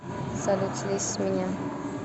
салют слезь с меня